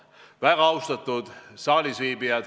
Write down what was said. Väga austatud saalisviibijad!